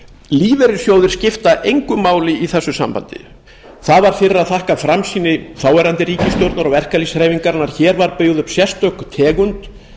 lífeyrissjóðir skipta engu máli í þessu sambandi það var fyrir að þakka framsýni þáverandi ríkisstjórnar og verkalýðshreyfingarinnar var byggð upp sérstök tegund